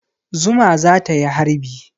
Zuma za ta yi harbi.